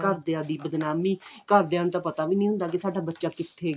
ਘਰਦਿਆਂ ਦੀ ਬਦਨਾਮੀ ਘਰਦਿਆਂ ਨੂੰ ਤਾਂ ਪਤਾ ਵੀ ਨਹੀਂ ਹੁੰਦਾ ਕਿ ਸਾਡਾ ਬੱਚਾ ਕਿੱਥੇ ਗਿਆ